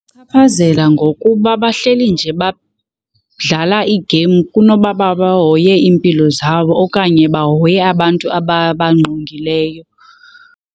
Chaphazela ngokuba bahleli nje badlala iigeyimu kunoba uba bahoye iimpilo zabo okanye bahoye abantu ababangqongileyo.